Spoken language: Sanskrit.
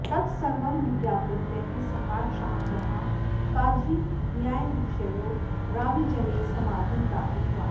तत्सर्वं विज्ञापितः सम्राट् शाहजहाँ काजीन्यायाधीशयो रावीजले समाधिं प्रापितवान्